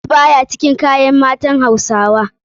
Jeans baya cikin kayan matan hausawa.